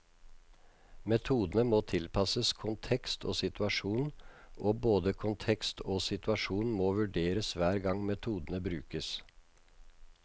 Metodene må tilpasses kontekst og situasjon, og både kontekst og situasjon må vurderes hver gang metodene brukes.